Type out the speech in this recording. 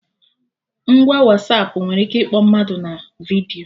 Ngwa Wasapụ nwere ike ịkpọ mmadụ na vidiyo